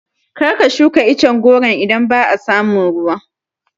Kar ka shuka icen goron idan ba a samun ruwa